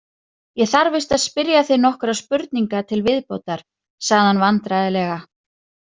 Ég þarf víst að spyrja þig nokkurra spurninga til viðbótar, sagði hann vandræðalega.